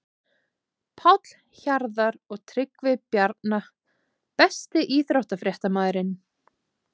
Páll Hjarðar og Tryggvi Bjarna Besti íþróttafréttamaðurinn?